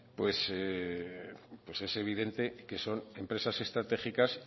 es evidente que son empresas estratégicas